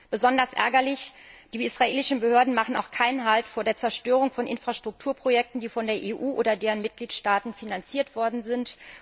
Besonders ärgerlich Die israelischen Behörden machen auch keinen Halt vor der Zerstörung von Infrastrukturprojekten, die von der EU oder deren Mitgliedstaaten finanziert worden sind.